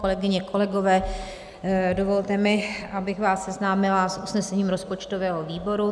Kolegyně, kolegové, dovolte mi, abych vás seznámila s usnesením rozpočtového výboru.